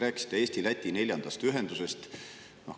Rääkisite Eesti-Läti neljandast ühendusest.